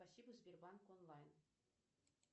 спасибо сбербанк онлайн